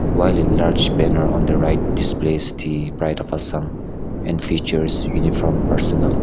while a large banner on the right displaced the pride of assam and features uniform personal.